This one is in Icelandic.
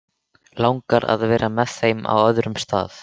Langar að vera með þeim á öðrum stað.